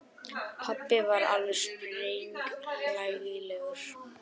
Pabbi var alveg sprenghlægilegur.